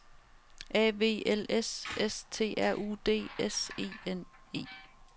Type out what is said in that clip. A V L S S T R U D S E N E